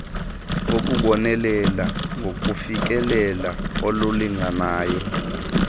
ngokubonelela ngofikelelo olulinganayo